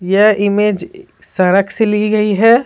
यह इमेज सड़क से ली गई है।